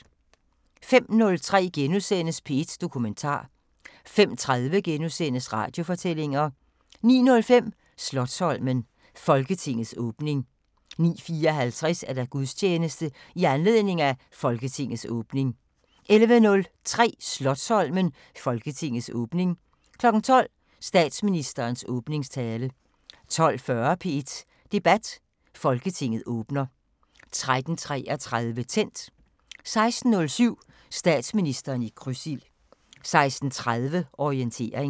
05:03: P1 Dokumentar * 05:30: Radiofortællinger * 09:05: Slotsholmen: Folketingets åbning 09:54: Gudstjeneste i anledning af Folketingets åbning 11:03: Slotsholmen: Folketingets åbning 12:00: Statsministerens åbningstale 12:40: P1 Debat: Folketinget åbner 13:33: Tændt 16:07: Statsministeren i krydsild 16:30: Orientering